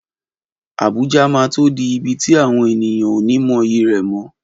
Abuja máa tó di ibi tí àwọn ènìyàn ó ní mọyì rẹ̀ mọ́.